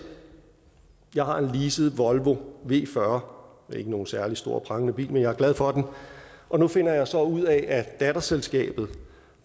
jeg har en leaset volvo v40 det er ikke nogen særlig stor og prangende bil men jeg er glad for den og nu finder jeg så ud af at datterselskabet